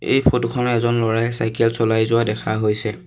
এই ফটো খনত এজন ল'ৰাই চাইকেল চলাই যোৱা দেখা হৈছে।